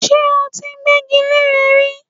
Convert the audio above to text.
Ṣé ó ti gbẹ́gi leré rí?